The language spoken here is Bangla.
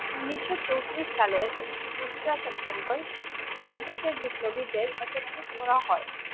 উনিশশো চৌত্রিশ সালের দুসরা সেপ্টেম্বর সারা দেশের বিপ্লবীদের একত্রিত করা হয়।